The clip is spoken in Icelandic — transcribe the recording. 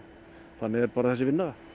þannig er bara þessi vinna